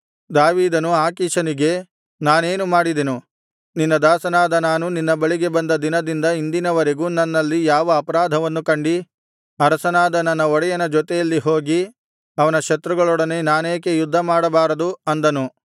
ದಾವೀದನು ಆಕೀಷನಿಗೆ ನಾನೇನು ಮಾಡಿದೆನು ನಿನ್ನ ದಾಸನಾದ ನಾನು ನಿನ್ನ ಬಳಿಗೆ ಬಂದ ದಿನದಿಂದ ಇಂದಿನವರೆಗೂ ನನ್ನಲ್ಲಿ ಯಾವ ಅಪರಾಧವನ್ನು ಕಂಡಿ ಅರಸನಾದ ನನ್ನ ಒಡೆಯನ ಜೊತೆಯಲ್ಲಿ ಹೋಗಿ ಅವನ ಶತ್ರುಗಳೊಡನೆ ನಾನೇಕೆ ಯುದ್ಧ ಮಾಡಬಾರದು ಅಂದನು